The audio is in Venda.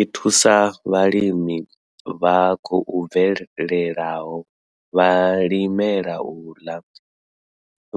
I thusa vhalimi vha khou bvelelaho, vhalimela u ḽa,